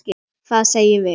Hvað segjum við?